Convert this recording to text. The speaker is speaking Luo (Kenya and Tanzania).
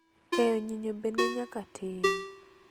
Keyo nyinyo be ne nyaka tim.